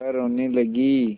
वह रोने लगी